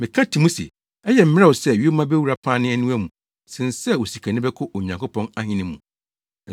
Meka ti mu se, ɛyɛ mmerɛw sɛ yoma bewura pane aniwa mu sen sɛ osikani bɛkɔ Onyankopɔn Ahenni mu!”